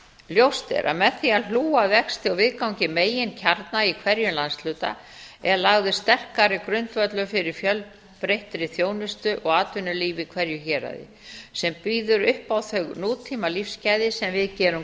ljóst er að með því að hlúa að vexti og viðgangi meginkjarna í hverjum landshluta er lagður sterkari grundvöllur fyrir fjölbreyttri þjónustu og atvinnulífi í hverju héraði sem býður upp á þau nútímalífsgæði sem við gerum